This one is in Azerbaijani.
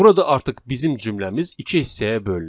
Burada artıq bizim cümləmiz iki hissəyə bölünür.